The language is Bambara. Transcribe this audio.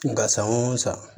Nka san o san